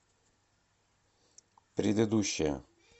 предыдущая